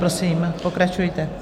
Prosím, pokračujte.